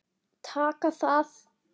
Taka það?